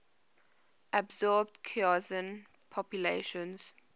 absorbed khoisan populations